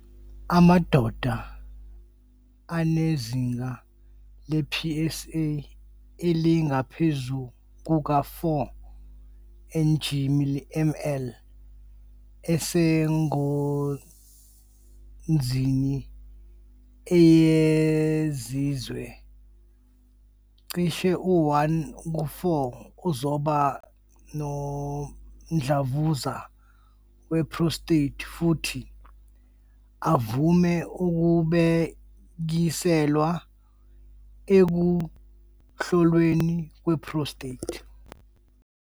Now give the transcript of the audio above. Amadoda anezinga le-PSA elingaphezu kuka-4 ng mL asengozini eyengeziwe - cishe u-1 ku-4 uzoba nomdlavuza we-prostate - futhi avame ukubhekiselwa ekuhlolweni kwe-prostate.